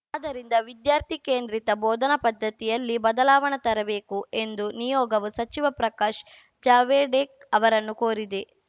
ಆದ್ದರಿಂದ ವಿದ್ಯಾರ್ಥಿ ಕೇಂದ್ರಿತ ಬೋಧನಾ ಪದ್ಧತಿಯಲ್ಲಿ ಬದಲಾವಣೆ ತರಬೇಕು ಎಂದು ನಿಯೋಗವು ಸಚಿವ ಪ್ರಕಾಶ್‌ ಜಾವಡೇಕ್ ಅವರನ್ನು ಕೋರಿದೆ